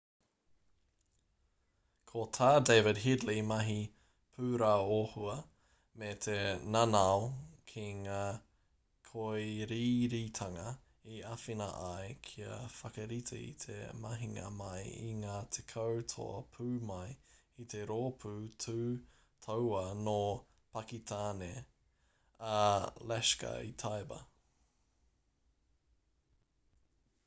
ko tā david headley mahi pūraohua me te nanao ki ngā kōiriiritanga i āwhina ai kia whakarite i te mahinga mai i ngā 10 toa pū mai i te rōpū tū tauā nō pakitāne a laskhar-e-taiba